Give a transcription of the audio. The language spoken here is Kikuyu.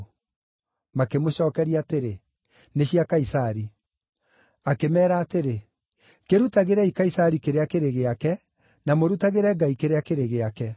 Makĩmũcookeria atĩrĩ, “Nĩ cia Kaisari.” Akĩmeera atĩrĩ, “Kĩrutagĩrei Kaisari kĩrĩa kĩrĩ gĩake, na mũrutagĩre Ngai kĩrĩa kĩrĩ gĩake.”